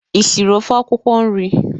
Ị siri ofe akwụkwọ nri?